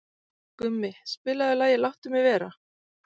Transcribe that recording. Gumi, spilaðu lagið „Láttu mig vera“.